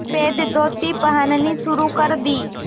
सफ़ेद धोती पहननी शुरू कर दी